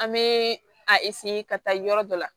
An bɛ a ka taa yɔrɔ dɔ la